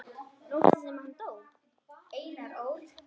Nóttina sem hann dó?